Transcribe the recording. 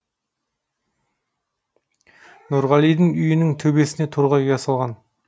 нұрғалидың үйінің төбесіне торғай ұя салған